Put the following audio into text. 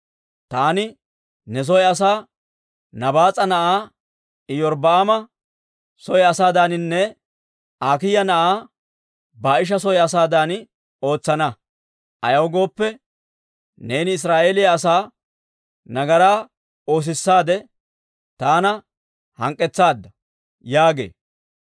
Taani ne soo asaa Nabaas'a na'aa Iyorbbaama soo asaadaaninne Akiiya na'aa Baa'isha soo asaadan ootsana. Ayaw gooppe, neeni Israa'eeliyaa asaa nagaraa oosissaade, taana hank'k'etsaadda› yaagee.